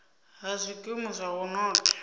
ha zwikimu zwa u notha